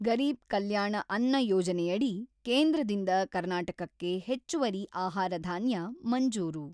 ಗರೀಬ್ ಕಲ್ಯಾಣ ಅನ್ನ ಯೋಜನೆಯಡಿ ಕೇಂದ್ರದಿಂದ ಕರ್ನಾಟಕಕ್ಕೆ ಹೆಚ್ಚುವರಿ ಆಹಾರಧಾನ್ಯ ಮಂಜೂರು.